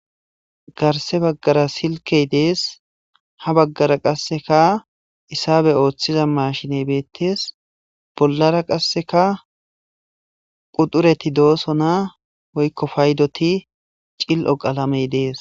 garse baggara silkey dees ha baggara qasseka isabe ooththiza mashiney beettees bollara qasseka qudureti dooso naa woykko paydoti cil7o qalamey dees